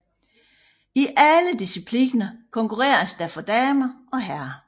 I alle discipliner konkurreres der for herrer og damer